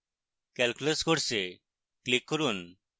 calculus course click করুন